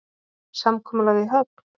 Samkomulag í höfn?